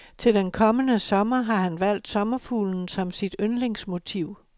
Til den kommende sommer har han valgt sommerfuglen som sit yndlingsmotiv.